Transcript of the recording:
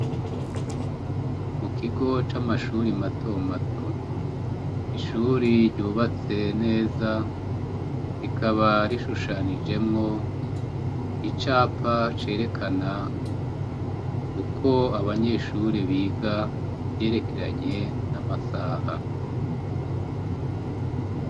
Mukigo camashure matomato ishure ryubatse neza rikaba rishushanijemwo icapa cerekana uko abanyeshure biga kuvyerekeranye namasaha